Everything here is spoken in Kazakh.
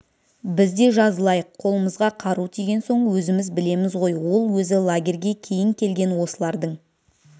біз де жазылайық қолымызға қару тиген соң өзіміз білеміз ғой ол өзі лагерьге кейін келген осылардың